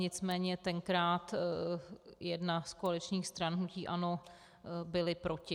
Nicméně tenkrát jedna z koaličních stran, hnutí ANO, byla proti.